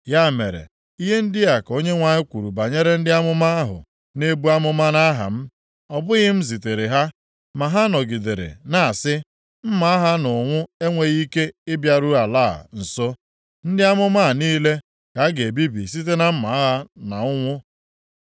Ya mere, ihe ndị a ka Onyenwe anyị kwuru banyere ndị amụma ahụ na-ebu amụma nʼaha m. Ọ bụghị m ziteere ha, ma ha nọgidere na-asị, ‘Mma agha na ụnwụ enweghị ike ịbịaru ala a nso.’ Ndị amụma a niile ka a ga-ebibi site na mma agha na ụnwụ.